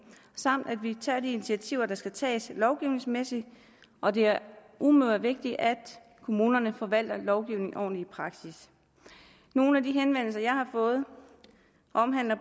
samt at vi tager de initiativer der skal tages lovgivningsmæssigt og det er umådelig vigtigt at kommunerne forvalter lovgivningen ordentligt i praksis nogle af de henvendelser jeg har fået omhandler